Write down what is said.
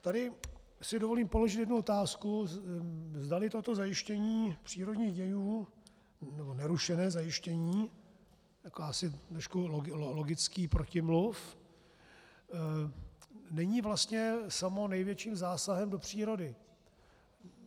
Tady si dovolím položit jednu otázku, zdali toto zajištění přírodních dějů, nebo nerušené zajištění, jako asi trošku logický protimluv není vlastně samo největším zásahem do přírody.